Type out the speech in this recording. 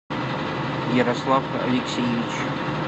ярослав алексеевич